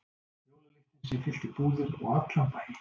Jólalyktin sem fyllti búðir og allan bæinn?